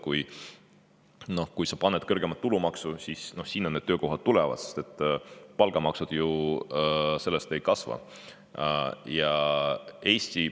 Kui sa paned tulumaksu kõrgemaks, siis sinna need töökohad tulevad, sest palgamaksud ju sellest ei kasva.